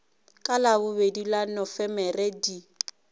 ka labobedi la nofemere di